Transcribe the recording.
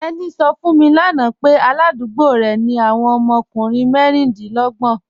Teni sọ̀ fún mi lána pẹ̀ aládùgbò rẹ ni awọn ọmọ ọkùnrin mẹríndínlọ̀gbọn